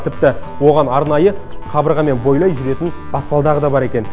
тіпті оған арнайы қабырғамен бойлай жүретін баспалдағы да бар екен